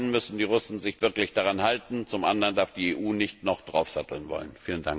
Zum einen müssen die Russen sich wirklich daran halten, zum anderen darf die EU nicht noch draufsatteln wollen.